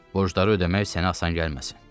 Borcları ödəmək sənə asan gəlməsin.